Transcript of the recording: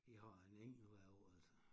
Vi har en enkelt hvert år altså